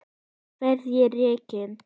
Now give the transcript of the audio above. Verð ég rekinn?